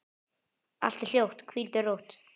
Allt er hljótt, hvíldu rótt.